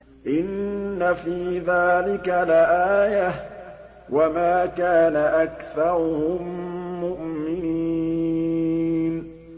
إِنَّ فِي ذَٰلِكَ لَآيَةً ۖ وَمَا كَانَ أَكْثَرُهُم مُّؤْمِنِينَ